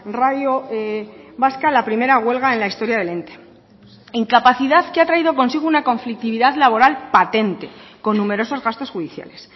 radio vasca la primera huelga en la historia del ente incapacidad que ha traído consigo una conflictividad laboral patente con numerosos gastos judiciales